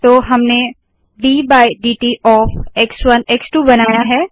तो हमने D by dt of एक्स1 एक्स2 बनाया है